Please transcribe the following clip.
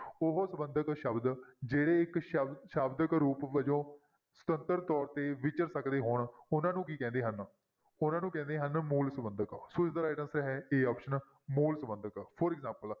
ਉਹ ਸੰਬੰਧਕ ਸ਼ਬਦ ਜਿਹੜੇ ਇੱਕ ਸ਼ਬ~ ਸ਼ਬਦਕ ਰੂਪ ਵਜੋਂ ਸੁਤੰਤਰ ਤੌਰ ਤੇ ਵਿਚਰ ਸਕਦੇ ਹੋਣ ਉਹਨਾਂ ਨੂੰ ਕੀ ਕਹਿੰਦੇ ਹਨ, ਉਹਨਾਂ ਨੂੰ ਕਹਿੰਦੇ ਹਨ ਮੂਲ ਸੰਬੰਧਕ ਸੋ ਇਸਦਾ right answer ਹੈ a option ਮੂਲ ਸੰਬੰਧਕ for example